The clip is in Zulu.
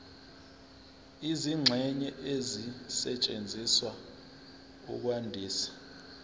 izingxenye ezisetshenziswa ukwandisa